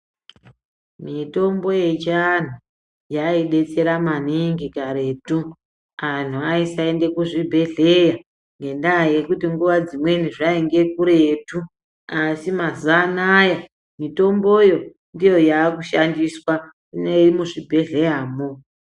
Mitombo yechianhu yadetsera maningi karetu. Anhu aisaenda kuzvibhedhlera ngendaa yekuti nguwa dzimweni zvainge kuretu asi mazuva anaya mitomboyo ndiyo yakushandiswa ine muzvibhedlera mwoo .